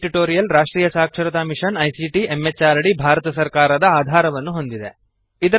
ಈ ಟ್ಯುಟೋರಿಯಲ್ ರಾಷ್ಟ್ರೀಯ ಸಾಕ್ಷರತಾ ಮಿಶನ್ ಐಸಿಟಿ ಎಂಎಚಆರ್ಡಿ ಭಾರತ ಸರ್ಕಾರದ ಆಧಾರವನ್ನು ಹೊಂದಿದೆ